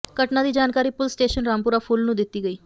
ਘਟਨਾ ਦੀ ਜਾਣਕਾਰੀ ਪੁਲੀਸ ਸਟੇਸ਼ਨ ਰਾਮਪੁਰਾ ਫੂਲ ਨੂੰ ਦਿੱਤੀ ਗਈ